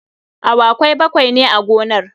Awakai bakwai ne a gonar.